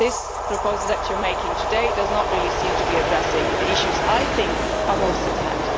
The proposal that you are making today does not really seem to be addressing the issues I think are most at hand.